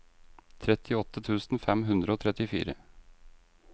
trettiåtte tusen fem hundre og trettifire